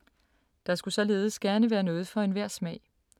Der skulle således gerne være noget for enhver smag.